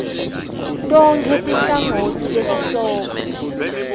tonkhe tinhlangotsi tesihloko